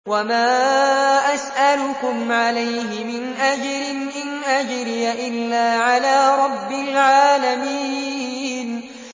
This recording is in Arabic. وَمَا أَسْأَلُكُمْ عَلَيْهِ مِنْ أَجْرٍ ۖ إِنْ أَجْرِيَ إِلَّا عَلَىٰ رَبِّ الْعَالَمِينَ